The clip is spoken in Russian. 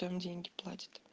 там деньги платит